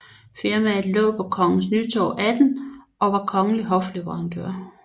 Firmaet lå på Kongens Nytorv 18 og var kongelig hofleverandør